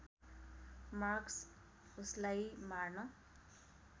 Marcus उसलाई मार्न